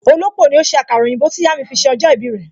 Olópò ni ó ṣe àkàrà òyìnbó tí ìyà mi fi ṣe ọjọ́ ìbí rẹ